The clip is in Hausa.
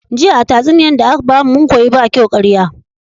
Jiya a tatsuniyar daka bamu mun koyi bakyau ƙaraya